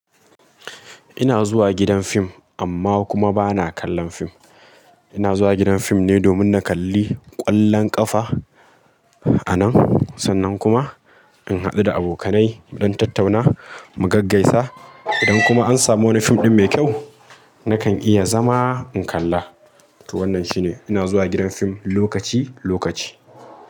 Ina zuwa gidan fim, amma kuma ba na kallon fim. Ina zuwa gidan fim ne domin na kalli, ƙwallon ƙafa anan, sannan kuma in haɗu da abokanai don tattauna mu gaggaisa. Idan kuma an samu wani fim ɗin mai kyau, nakan iya zama in kalla. To wannan shine, ina zuwa gidan fim lokaci lokaci.